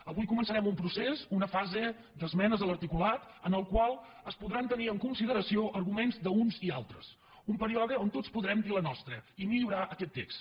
avui començarem un procés una fase d’esmenes a l’articulat en el qual es podran tenir en consideració arguments d’uns i altres un període on tots podrem dir la nostra i millorar aquest text